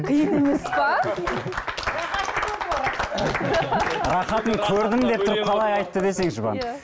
қиын емес пе рахатын көрдім деп тұрып қалай айтты десеңші бағана